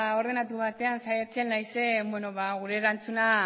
ordenatu batean saiatzen naizen gure erantzuna